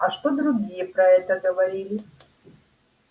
а что другие про это говорили